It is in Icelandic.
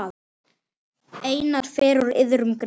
Einatt fer úr iðrum greitt.